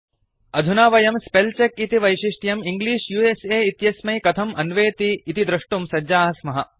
अधुना वयं spell check इति वैशिष्ट्यं इंग्लिश उस इत्यस्मै कथम् अन्वेति इति दृष्टुं सज्जाः स्मः